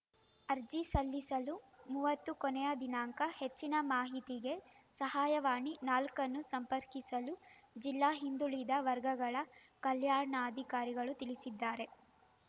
ಅರ್ಜಿ ಸಲ್ಲಿಸಲು ಮೂವತ್ತು ಕೊನೆಯ ದಿನಾಂಕ ಹೆಚ್ಚಿನ ಮಾಹಿತಿಗೆ ಸಹಾಯವಾಣಿ ನಾಲ್ಕನ್ನು ಸಂಪರ್ಕಿಸಲು ಜಿಲ್ಲಾ ಹಿಂದುಳಿದ ವರ್ಗಗಳ ಕಲ್ಯಾಣಾಧಿಕಾರಿಗಳು ತಿಳಿಸಿದ್ದಾರೆ